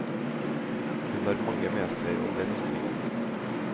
Hun har mange med seg om den ytringen.